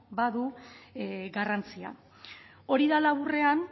badu garrantzia hori dela aurrean